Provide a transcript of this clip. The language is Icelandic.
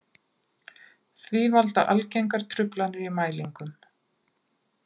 Því valda algengar truflanir í mælingum.